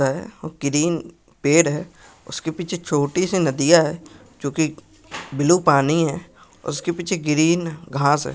Green पेड़ है उसके पीछे छोटी सी नदियां है जो की ब्लू पानी है उसके पीछे ग्रीन घास है।